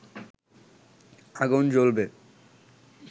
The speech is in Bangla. আগুন জ্বলবে